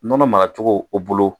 Nɔnɔ mara cogo o bolo.